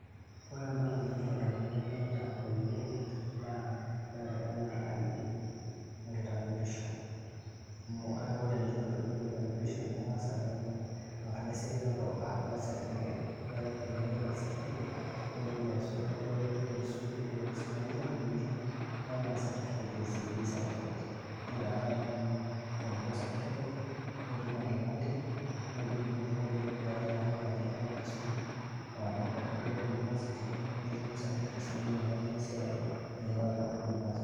ore mpala naing'orita iltunganak le kenya oleng'.naa ore ene dukuya naa id enkitambulisho. kake ore naa eitu itumenkitampulisho ning'as atum enkardasi einoto aa birth cretificate ore pee iidip anoto enkardasi e birth ceritificate nilo primary ore pee iidip primary cs]nitum primary certificate nitum kcpe certificate, nitum form four certificate ntum enkipande. nilo taata aendelea te nkisuma oo taa idipa university nitum taa enkardasi nitumie esiai.